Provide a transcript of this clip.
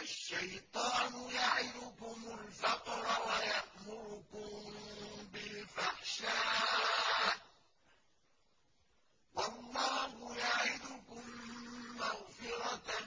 الشَّيْطَانُ يَعِدُكُمُ الْفَقْرَ وَيَأْمُرُكُم بِالْفَحْشَاءِ ۖ وَاللَّهُ يَعِدُكُم مَّغْفِرَةً